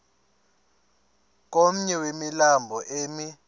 komnye wemilambo emi